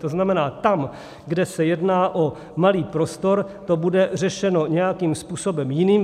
To znamená, tam, kde se jedná o malý prostor, to bude řešeno nějakým způsobem jiným.